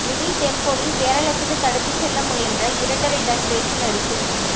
mini டெம்போவில் கேரளத்துக்கு கடத்திச் செல்ல முயன்ற இரண்டரை டன் ரேஷன் அரிசி